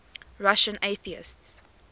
russian atheists